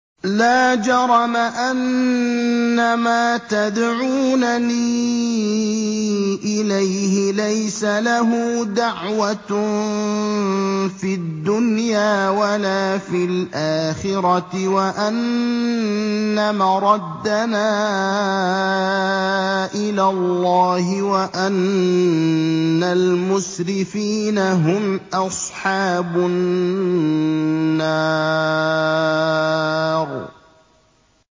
لَا جَرَمَ أَنَّمَا تَدْعُونَنِي إِلَيْهِ لَيْسَ لَهُ دَعْوَةٌ فِي الدُّنْيَا وَلَا فِي الْآخِرَةِ وَأَنَّ مَرَدَّنَا إِلَى اللَّهِ وَأَنَّ الْمُسْرِفِينَ هُمْ أَصْحَابُ النَّارِ